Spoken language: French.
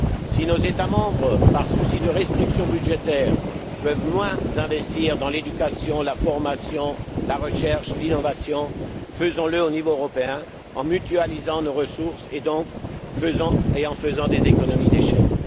Si nos États membres, par souci de restrictions budgétaires, peuvent moins investir dans l'éducation, la formation, la recherche, l'innovation, faisons le au niveau européen en mutualisant nos ressources et donc, en faisant des économies d'échelle.